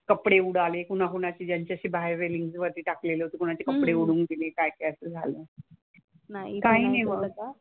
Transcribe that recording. कपडे उडाले कुणा कुणाचे ज्यांचे असे बाहेर रेलिंग वरती टाकलेले होते. कोणाचे कपडे उडून गेले काय काय असं झालं. काही नाही मग.